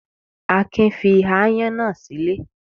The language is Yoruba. Akin fi aáyán náà sílé.